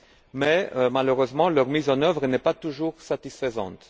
mais malheureusement leur mise en œuvre n'est pas toujours satisfaisante.